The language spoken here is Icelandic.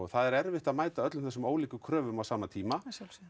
það er erfitt að mæta öllum þessum ólíku kröfum á sama tíma